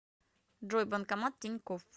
джой банкомат тинькофф